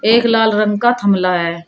एक लाल रंग का थमला है।